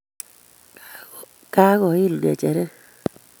Kagoil ngecheret